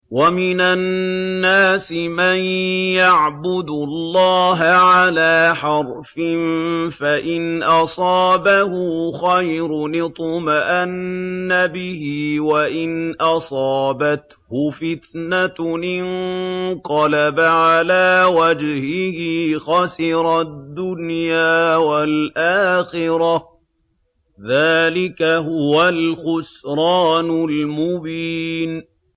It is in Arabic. وَمِنَ النَّاسِ مَن يَعْبُدُ اللَّهَ عَلَىٰ حَرْفٍ ۖ فَإِنْ أَصَابَهُ خَيْرٌ اطْمَأَنَّ بِهِ ۖ وَإِنْ أَصَابَتْهُ فِتْنَةٌ انقَلَبَ عَلَىٰ وَجْهِهِ خَسِرَ الدُّنْيَا وَالْآخِرَةَ ۚ ذَٰلِكَ هُوَ الْخُسْرَانُ الْمُبِينُ